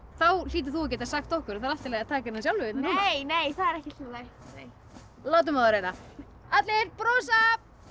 þá hlýtur þú að geta sagt okkur að það er allt í lagi að taka eina sjálfu nei það er ekki í lagi látum á það reyna allir brosa